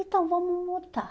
Então, vamos mutar.